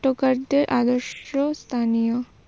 নাট্যকারদের আদর্শ স্থানীয়।